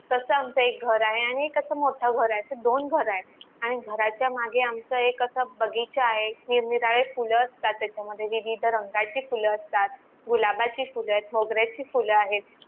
तस आमच एक घर आहे आणि कस मोठ घर आहे अशे दोन घर आहेत आणि घराच्या मागे आमच एका असा बगीचा आहे निरनिराळी फुलं असतात त्याच्यामध्ये विविध रंगाची फुल असतात गुलाबाची फुलएत मोगरायची फुल आहेत